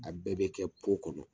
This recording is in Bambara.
A bɛɛ bɛ kɛ kɔnɔ